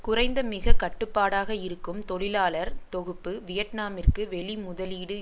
குறைந்த மிக கட்டுப்பாடாக இருக்கும் தொழிலாளர் தொகுப்பு வியட்நாமிற்கு வெளி முதலீடு